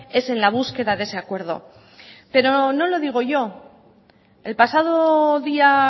es en la búsqueda de ese acuerdo pero no lo digo yo el pasado día